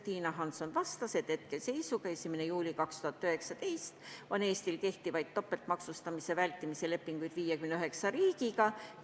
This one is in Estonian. Tiina Hansson vastas, et 1. juulil 2019 olid Eestil kehtivad topeltmaksustamise vältimise lepingud 59 riigiga.